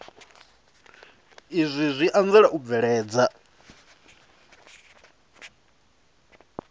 izwi zwi anzela u bveledza